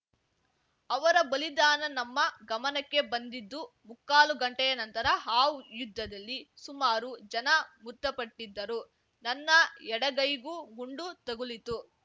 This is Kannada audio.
ಅವರ ಬಲಿದಾನ ನಮ್ಮ ಗಮನಕ್ಕೆ ಬಂದಿದ್ದು ಮುಕ್ಕಾಲು ಗಂಟೆಯ ನಂತರ ಆ ಯುದ್ಧದಲ್ಲಿ ಸುಮಾರು ಜನ ಮೃತಪಟ್ಟಿದ್ದರು ನನ್ನ ಎಡಗೈಗೂ ಗುಂಡು ತಗುಲಿತು